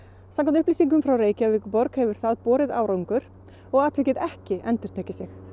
samkvæmt upplýsingum frá Reykjavíkurborg hefur það árangri og atvikið ekki endurtekið sig